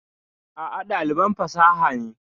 A'a, ɗaliban fasaha ne.